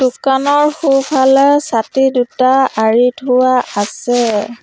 সোঁফালে ছাতি দুটা আঁৰি থোৱা আছে।